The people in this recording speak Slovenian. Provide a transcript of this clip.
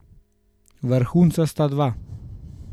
Vrhunca sta dva.